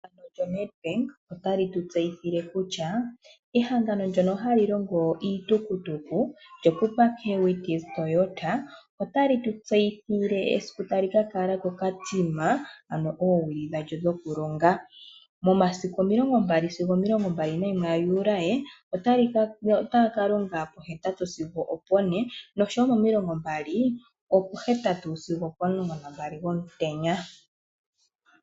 Ehangano lyoNedbank otali tu tseyithile kutya ehangano ndyono hali longo iitukutuku lyo Pupukewits Toyota otali tu tseyithile esiku tali ka kala koKatima ano oowili dhalyo dhokulonga, momasiku omilongo mbali (20) sigo omilongo mbali nayimwe (21) ga Juli, otaya kalonga pohetatu sigo opone noshowoo momilongo mbali opohetatu sigo opomulongo nambali gomutenya.